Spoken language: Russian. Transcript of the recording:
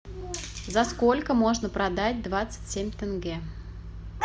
за сколько можно продать двадцать семь тенге